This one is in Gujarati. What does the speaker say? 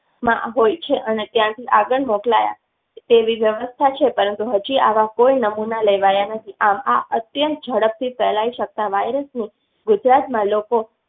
હોય છે અને ત્યાંથી આગળ મોકલાય તેવી વ્યવસ્થા છે, પરંતુ હજી આવા કોઈ નમુના લેવાયા નથી. આ અત્યંત ઝડપથી ફેલાઈ શકતા virus ગુજરાતમાં લોકો